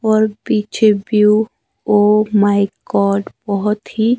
और पीछे view oh my god बहुत ही--